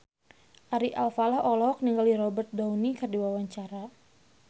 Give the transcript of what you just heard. Ari Alfalah olohok ningali Robert Downey keur diwawancara